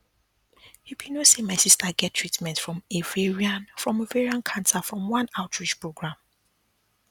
you be no say my sister get treatment from ovarian from ovarian cancer from one outreach program